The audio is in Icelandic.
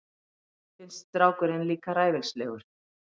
Finnst strákurinn líka ræfilslegur.